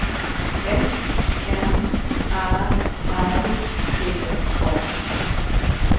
S M Ä R T A